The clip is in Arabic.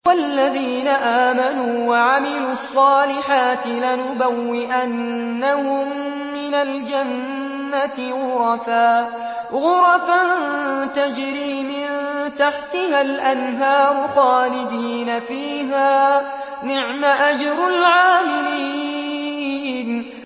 وَالَّذِينَ آمَنُوا وَعَمِلُوا الصَّالِحَاتِ لَنُبَوِّئَنَّهُم مِّنَ الْجَنَّةِ غُرَفًا تَجْرِي مِن تَحْتِهَا الْأَنْهَارُ خَالِدِينَ فِيهَا ۚ نِعْمَ أَجْرُ الْعَامِلِينَ